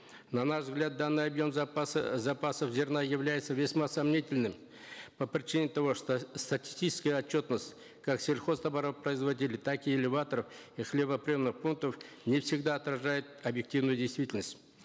на наш взгляд данный объем запаса э запасов зерна является весьма сомнительным по причине того что статистическая отчетность как сельхозтоваропроизводителей так и элеваторов и хлебоприемных пунктов не всегда отражает объективную действительность